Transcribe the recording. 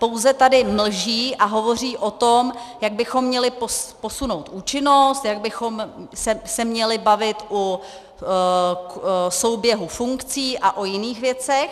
Pouze tady mlží a hovoří o tom, jak bychom měli posunout účinnost, jak bychom se měli bavit o souběhu funkcí a o jiných věcech.